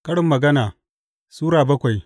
Karin Magana Sura bakwai